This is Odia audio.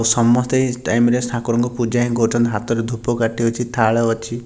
ସମସ୍ତେ ଏହି ଟାଇମ ରେ ଠାକୁରଙ୍କୁ ପୂଜା ହିଁ କରୁଚନ୍ତି ହାତରେ ଧୂପକାଟି ଅଛି ଥାଳ ଅଛି।